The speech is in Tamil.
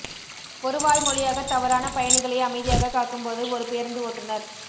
ஒரு வாய்மொழியாக தவறான பயணிகளை அமைதியாகக் காக்கும்போது ஒரு பேருந்து ஓட்டுநர்